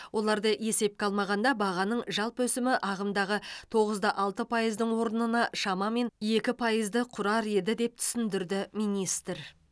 оларды есепке алмағанда бағаның жалпы өсімі ағымдағы тоғыз да алты пайыздың орнына шамамен екі пайызды құрар еді деп түсіндірді министр